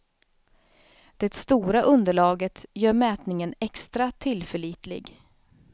Det stora underlaget gör mätningen extra tillförlitlig.